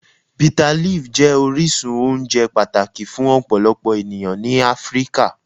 Bitterleaf jẹ orisun ounje pataki fun ọpọlọpọ eniyan ni Afirika.